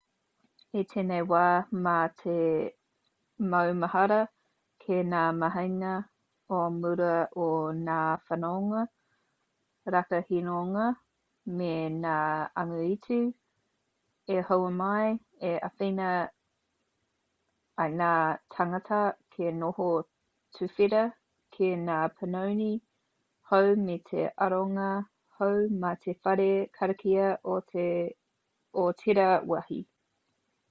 i tēnei wā mā te maumahara ki ngā mahinga o mua a ngā whanonga rakahinonga me ngā angitu i hua mai i āwhina i ngā tāngata kia noho tuwhera ki ngā panoni hou me te aronga hou mā te whare karakia o tērā wāhi